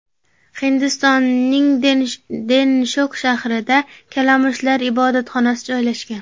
Hindistonning Denshok shahrida kalamushlar ibodatxonasi joylashgan.